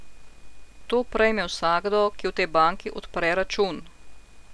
To prejme vsakdo, ki v tej banki odpre račun.